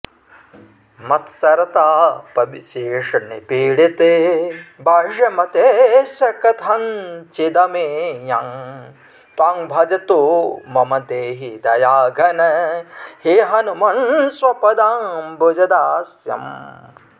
मत्सरतापविशेषनिपीडितबाह्यमतेश्च कथञ्चिदमेयं त्वां भजतो मम देहि दयाघन हे हनुमन्स्वपदाम्बुजदास्यम्